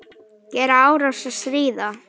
Gera árás- stríða